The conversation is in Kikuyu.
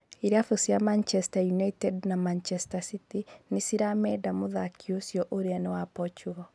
Irabu cia Manchester United na Manchester City nicirameenda muthaki ũcio ũria ni wa Portugal.